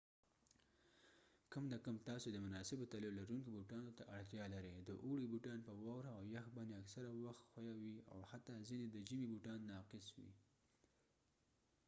کم نه کم تاسې د مناسبو تلیو لرونکو بوټانو ته اړتیا لرئ د اوړي بوټان په واوره او یخ باندې اکثره وخت ښویه وي او حتي ځینې د ژمي بوټان ناقص وي